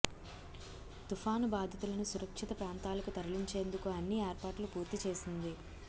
తుపాను బాధితులను సురక్షిత ప్రాంతాలకు తరలించేందుకు అన్ని ఏర్పాట్లు పూర్తి చేసింది